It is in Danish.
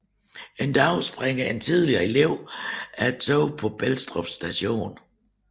En dag springer en tidligere elev af toget på Belstrup Station